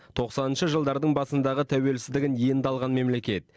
тоқсаныншы жылдардың басындағы тәуелсіздігін енді алған мемлекет